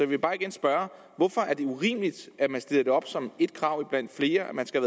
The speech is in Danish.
vil bare igen spørge hvorfor er det urimeligt at man stiller som et krav blandt flere at man skal